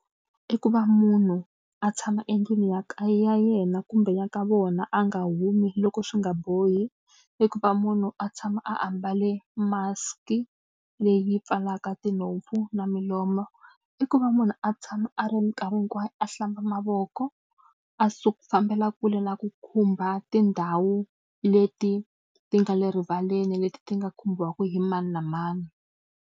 I ku va munhu a tshama endlwini ya ya yena kumbe ya ka vona a nga humi loko swi nga bohi, i ku va munhu a tshama a ambale mask-i leyi pfalaka tinhompfu na milomu. I ku va munhu a tshama a ri minkarhi hinkwayo a hlamba mavoko, a fambela kule na ku khumba tindhawu leti ti nga le rivaleni leti ti nga khumbiwaka hi mani na mani.